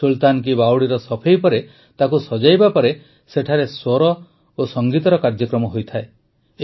ସୁଲତାନ କୀ ବାୱଡ଼ିର ସଫେଇ ପରେ ତାକୁ ସଜାଇବା ପରେ ସେଠାରେ ସ୍ୱର ଓ ସଂଗୀତର କାର୍ଯ୍ୟକ୍ରମ ହୋଇଥାଏ